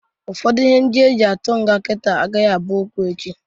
Ụfọdụ ihe e ji atụ nga kita agaghị abụ okwu echi.